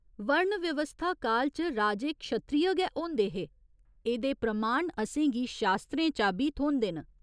वर्ण व्यवस्था काल च राजे क्षत्रिय गै होंदे हे, एह्दे प्रमाण असेंगी शास्त्रें चा बी थ्होंदे न।